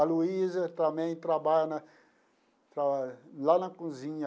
A Luísa também trabalha lá na cozinha.